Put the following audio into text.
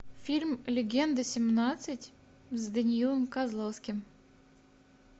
фильм легенда семнадцать с даниилом козловским